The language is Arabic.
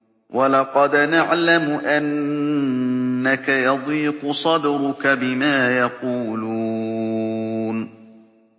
وَلَقَدْ نَعْلَمُ أَنَّكَ يَضِيقُ صَدْرُكَ بِمَا يَقُولُونَ